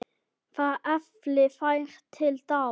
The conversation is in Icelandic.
Það efli þær til dáða.